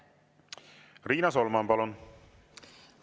Riina Solman, palun!